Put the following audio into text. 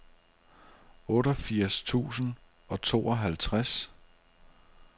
otteogfirs tusind og tooghalvtreds